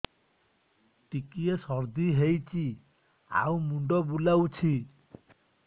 ଟିକିଏ ସର୍ଦ୍ଦି ହେଇଚି ଆଉ ମୁଣ୍ଡ ବୁଲାଉଛି